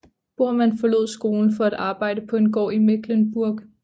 Bormann forlod skolen for at arbejde på en gård i Mecklenburg